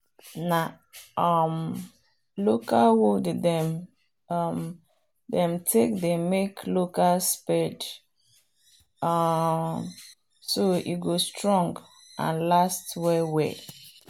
na um local wood them um take they make local spade um so e go strong and last well well